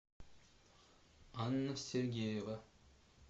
анна сергеева